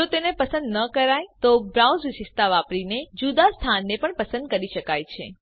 જો તેને પસંદ ન કરાય તો બ્રાઉઝ વિશેષતા વાપરીને જુદા સ્થાનને પણ પસંદ કરી શકાય છે